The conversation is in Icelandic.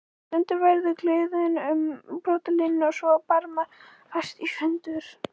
Stundum verður gliðnun um brotalínuna svo að barmar færast sundur.